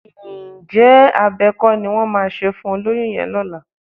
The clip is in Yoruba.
Ǹjẹ́ abẹ kọ́ ni wọ́n máa ṣe fún olóyún yẹn lọ́la?